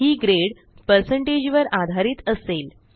ही grade percentage वर आधारित असेल